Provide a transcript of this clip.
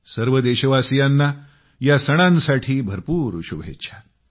सर्व देशवासियांना या सणांसाठी भरपूर शुभेच्छा